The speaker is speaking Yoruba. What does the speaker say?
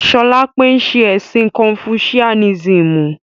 Solape n ṣe ẹ̀sìn kọnfusiánísímù